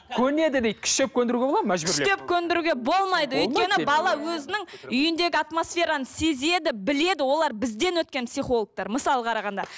көнеді дейді күштеп көндіруге болады ма мәжбүрлеп күштеп көндіруге болмайды өйткені бала өзінің үйіндегі атмосфераны сезеді біледі олар бізден өткен психологтар мысалы қарағанда